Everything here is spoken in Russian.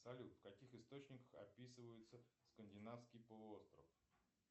салют в каких источниках описывается скандинавский полуостров